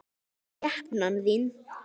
Skepnan þín!